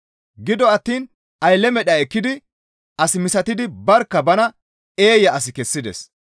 Gido attiin aylle medha ekkidi as misatidi barkka bana eeya as kessides.